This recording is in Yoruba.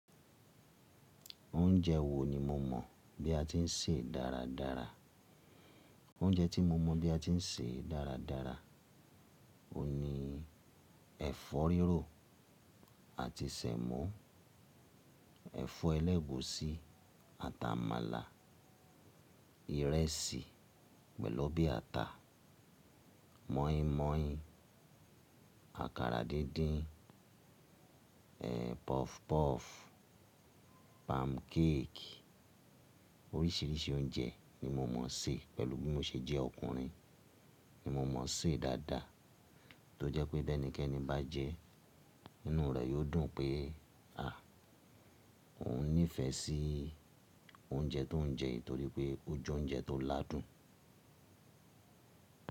Oúnjẹ wo ni mo mọ̀ bí a ti ń sè dára dára? Oúnjẹ tí mo mọ̀ bí a ti ń sè dára dára ni ẹ̀fọ́ rírò àti sẹ̀mọ́, ẹ̀fọ́ ẹlẹ́gùúsí àtà màlà, ìrẹsì pẹ̀lú ọbẹ ata, mọ́ínmọ́ín, àkàrà díndín, ẹ́, puff puff, pancake. Oríṣìíríṣìí oúnjẹ ni mo mọ̀ sè pẹ̀lú bí mo ṣe jẹ́ ọkùnrin ni mo mọ̀ sè dáadáa tó jẹ́ pé tẹni kẹni bá jẹẹ́, inú rẹ̀ yóò dùn pé, à, òun nífẹ̀ẹ́ sí oúnjẹ tó ń jẹ nítorí pé ó jẹ oúnjẹ tó ládùn.